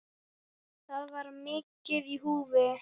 Það var mikið í húfi.